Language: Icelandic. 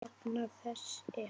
Jafna þess er